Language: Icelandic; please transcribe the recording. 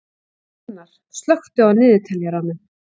Jónar, slökktu á niðurteljaranum.